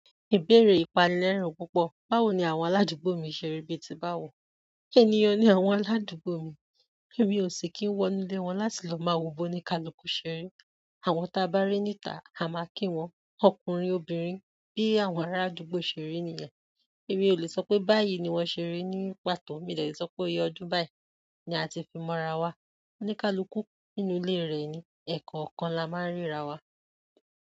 Ìbéèrè ìpani lerin púpọ̀. Báwo ni àwọn aládùúgbò mi ṣeri bí ti báwo? Ènìyàn ní àwọn aládùúgbò mi? Èmi ò sì kín wọ inú ílé wọn láti lọ máa wo bó ní kaluku ṣeri. Àwọn ta bá rí níta, a máa kí wọn. Ọkùnrin, obìnrin bi àwọn ara àdúgbò se ri niyen. Èmi ò lè sọ pé báyìí ni wọ́n ṣe ri, ní pàtó mi de lè sọ pé iye ọdún báyìí ni a ti fi mọ́ra wa. Oníkálukú nínú ilé rẹ̀ ni, ẹ̀ko kan la máa ń ríra wa.